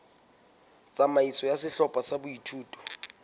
tsamaiso ya sehlopha sa boithuto